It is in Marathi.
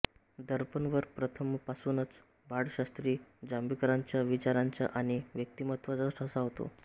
दर्पणवर प्रथमपासूनच बाळशास्त्री जांभेकरांच्या विचारांचा आणि व्यक्तिमत्त्वाचा ठसा होता